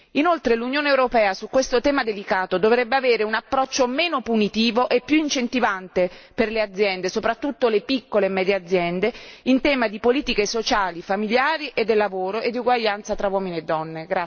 Inoltre, l'Unione europea su questo tema delicato dovrebbe avere un approccio meno punitivo e più incentivante per le aziende, soprattutto le piccole e medie aziende, in tema di politiche sociali, familiari e del lavoro e di uguaglianza tra uomini e donne.